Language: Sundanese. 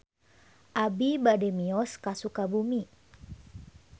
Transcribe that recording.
Abi bade mios ka Sukabumi